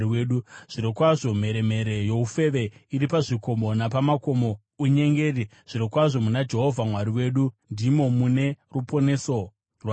Zvirokwazvo mheremhere youfeve iri pazvikomo, napamakomo unyengeri; zvirokwazvo muna Jehovha Mwari wedu ndimo mune ruponeso rwaIsraeri.